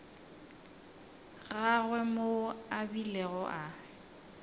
gagwe moo a bilego a